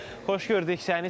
Xoş gördük səni.